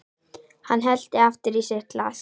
Hann hellti aftur í sitt glas.